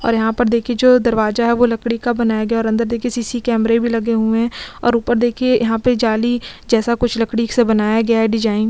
और यहाँ पर देखिये जो दरवाजा है वो लकड़ी का बनाया गया है और अंदर देखिये सी सी कैमरे भी लगे हुए है और ऊपर देखिये यहाँ पर जाली जैसा कुछ लकड़ी से बनाया गया है डिजाईन --